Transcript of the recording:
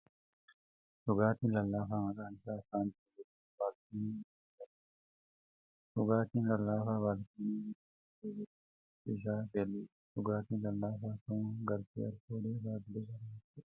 Dhugaatiin lallaafaa maqaan isaa ' Faantaa ' jedhamu baalkoonii irra dhaabbatee jira. Dhugaatiin lallaafaa baalkoonii irra dhaabbatee jiru kun bifti isaa keelloodha. Dhugaatiin lallaafaa kamuu galtee alkoolii irraa bilisa kan ta'eedha.